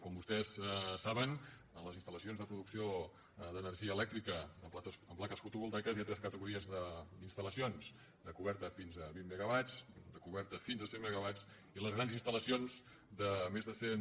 com vostès saben en les instal·lacions de pro·ducció d’energia elèctrica amb plaques fotovoltaiques hi ha tres categories d’instal·lacions de coberta fins a vint megawatts de coberta fins a cent megawatts i les grans instal·lacions de més de cent